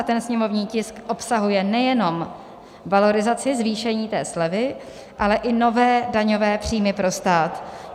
A ten sněmovní tisk obsahuje nejenom valorizaci, zvýšení té slevy, ale i nové daňové příjmy pro stát.